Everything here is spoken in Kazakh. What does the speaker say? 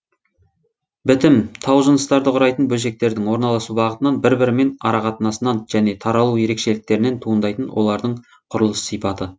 бітім таужыныстарды құрайтын бөлшектердің орналасу бағытынан бір бірімен арақатынасынан және таралу ерекшеліктерінен туындайтын олардың құрылыс сипаты